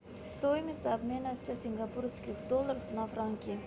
стоимость обмена ста сингапурских долларов на франки